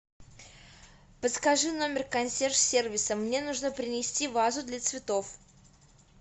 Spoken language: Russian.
подскажи номер консьерж сервиса мне нужно принести вазу для цветов